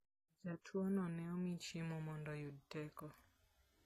Jatuono ne omi chiemo mondo oyud teko.